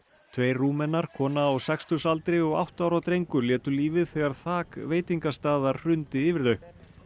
tveir Rúmenar kona á sextugsaldri og átta ára drengur létu lífið þegar þak veitingastaðar hrundi yfir þau